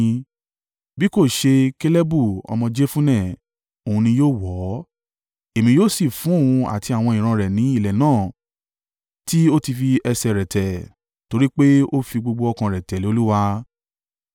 Bí kò ṣe Kalebu ọmọ Jefunne. Òun ni yóò wọ̀ ọ́. Èmi yóò sì fún òun àti àwọn ìran rẹ̀ ní ilẹ̀ náà tí ó ti fi ẹsẹ̀ rẹ̀ tẹ̀; torí pé ó fi gbogbo ọkàn rẹ̀ tẹ̀lé Olúwa.”